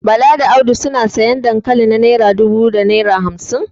Bala da Audu suna sayan dankali na naira dubu da naira hamsin